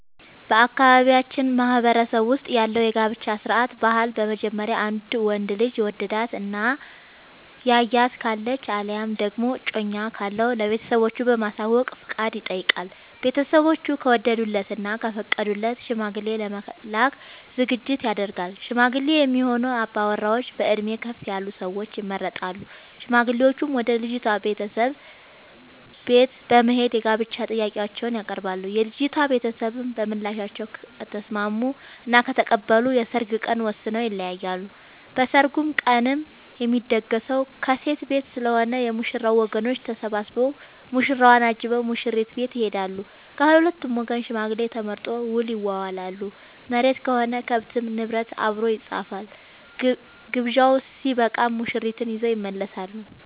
በአካባቢያችን ማህበረሰብ ውስጥ ያለው የጋብቻ ስርዓት/ ባህል በመጀመሪያ ወንዱ ልጅ የወደዳት እና ያያት ካለች አለያም ደግሞ እጮኛ ካለው ለቤተሰቦቹ በማሳወቅ ፍቃድ ይጠይቃል። ቤተስቦቹ ከወደዱለት እና ከፈቀዱለት ሽማግሌ ለመላክ ዝግጅት ይደረጋል። ሽማግሌ የሚሆኑ አባወራዎች በእድሜ ከፍ ያሉ ሰዎች ይመረጣሉ። ሽማግሌዎቹም ወደ ልጅቷ ቤተሰቦች በት በመሄድ የጋብቻ ጥያቄአቸውን ያቀርባሉ። የልጂቷ ቤተሰቦችም በምላሻቸው ከተስምስሙ እና ከተቀበሉ የሰርግ ቀን ወስነው ይለያያሉ። በሰርጉ ቀንም የሚደገሰው ከሴት ቤት ስለሆነ የ ሙሽራው ወገኖች ተሰብስቧ ሙሽራውን አጅበው ሙሽሪት ቤት ይሄዳሉ። ከሁለቱም ወገን ሽማግሌ ተመርጦ ውል ይዋዋላሉ መሬትም ሆነ ከብት እና ንብረት አብሮ ይፃፋል። ግብዣው ስበቃም ሙሽርትን ይዘው ይመለሳሉ።